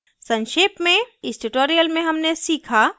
संक्षेप में इस tutorial में हमने सीखा